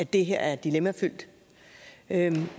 det her er dilemmafyldt men